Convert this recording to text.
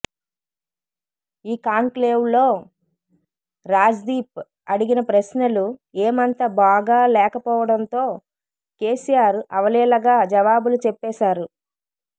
ఈ కాంక్లేవ్లో రాజ్దీప్ అడిగిన ప్రశ్నలు ఏమంత బాగాలేకపోవడంతో కెసిఆర్ అవలీలగా జవాబులు చెప్పేశారు